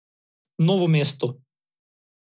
Novo mesto.